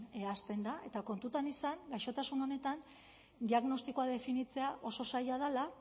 hasten da eta kontutan izan gaixotasun honetan diagnostikoa definitzea oso zaila dela